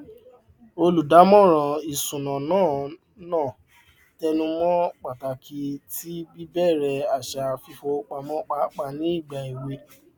olùdámọràn ìṣúná náà náà tẹnùmọ pàtàkì ti bíbẹrẹ àṣà fífowópamọ pàápàá ní ìgbà èwe